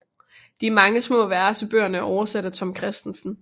De mange små vers i bøgerne er oversat af Tom Kristensen